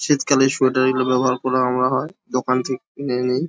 শীত কালে সোয়েটার গুলো ব্যবহার করে আনা হয় দোকান থেকে কিনে নিয়ে।